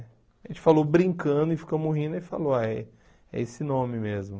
A gente falou brincando e ficamos rindo e falou, ah, é esse nome mesmo.